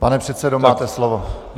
Pane předsedo, máte slovo.